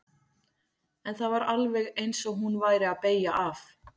En það var alveg eins og hún væri að beygja af.